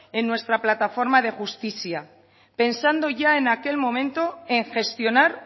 en nuestra plataforma de justizia pensando ya en aquel momento en gestionar